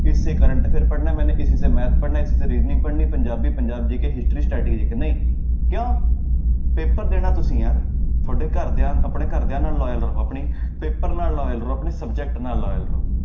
ਇਸ ਸੇ current affair ਪੜ੍ਹਨਾ ਮੈਨੇ ਇਸੀ ਸੇ math ਪੜ੍ਹਨਾ ਇਸੇ ਸੇ reasoning ਪੜ੍ਹਨੀ ਪੰਜਾਬੀ ਪੰਜਾਬ GK history ਨਹੀਂ ਕਿਉਂ ਪੇਪਰ ਦੇਣਾ ਤੁਸੀਂ ਯਾਰ ਤੁਹਾਡੇ ਘਰਦਿਆਂ ਆਪਣੇ ਘਰਦਿਆਂ ਨਾਲ loyal ਰਹੋ ਆਪਣੀ ਪੇਪਰ ਨਾਲ loyal ਰਹੋ ਆਪਣੇ subject ਨਾਲ loyal ਰਹੋ।